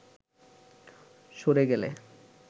সরে গেলে